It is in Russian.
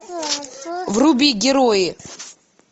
вруби герои